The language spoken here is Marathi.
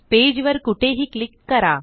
पेज वर कुठेही क्लिक करा